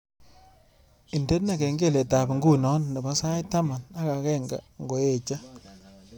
Indene kengeletab nguno nebo sait taman ak agenge ngoeche